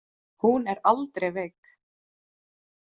Hún er aldrei veik.